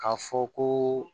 K'a fɔ ko